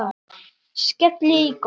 Skelli í gólfið.